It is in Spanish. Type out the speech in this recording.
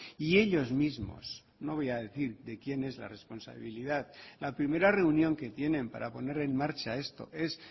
y ellos mismos no voy a decir de quién es la responsabilidad la primera reunión que tienen para poner en marcha esto es